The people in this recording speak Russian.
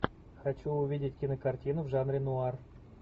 хочу увидеть кинокартину в жанре нуар